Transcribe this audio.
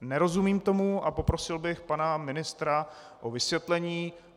Nerozumím tomu a poprosil bych pana ministra o vysvětlení.